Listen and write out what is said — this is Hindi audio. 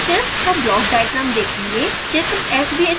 अब हम sbhs का ब्लॉक डायग्राम देखेंगे